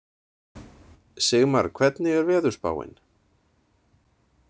Sigmar, hvernig er veðurspáin?